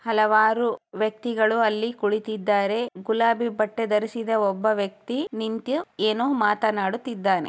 ಹಲವಾರು ವ್ಯಕ್ತಿಗಳೂ ಅಲ್ಲಿ ಕುಳಿತಿದ್ದಾರೆ ಗುಲಾಬೀ ಬಟ್ಟೆ ಧರಿಸಿದ ಒಬ್ಬ ವ್ಯಕ್ತಿ ನಿಂತು ಏನೋ ಮಾತನಾಡುತ್ತಿದ್ದಾನೆ.